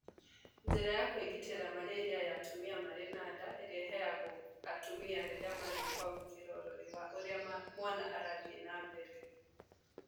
Njĩra ya kũĩgitĩra malaria ya atumia marĩ na nda ĩrĩa ĩheagwo atumia rĩrĩa mathiĩ kwamũkĩra ũrori wa ũrĩa mwana arathiĩ na mbele